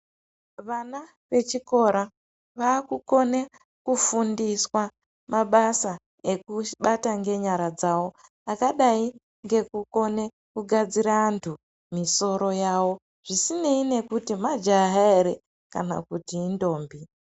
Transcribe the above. Vana vechikora vakukone kufundiswa mabasa ekubata ngenyara dzawo akadai ngeekukone kugadzire antu misoro yavo zvisinei nekuti majaha ere kana kuti indombi.